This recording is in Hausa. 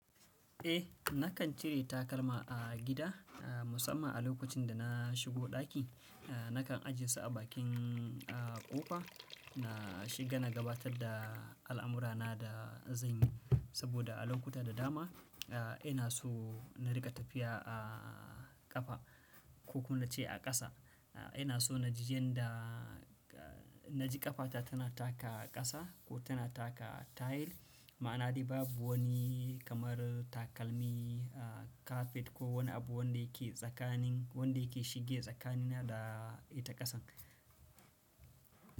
Eh, nakan cire takalma a gida, musamman a lokacin da na shigo ɗaki. Nakan ajiye su a bakin ƙofa na shiga na gabatar da al'amurana da zan yi, saboda a lokuta da dama ina so na riƙa tafiya a ƙafa ko kuma nace a ƙasa. Ina so naji ƙafata tana taka ƙasa ko tana taka tile, ma'ana dai babu wani kamar takalmi, kafet ko wani abu wanda yake tsakanin, wanda yake shige tsakanina da ita ƙasan.